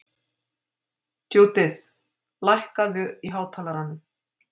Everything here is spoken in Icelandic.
Judith, lækkaðu í hátalaranum.